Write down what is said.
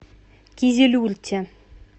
кизилюрте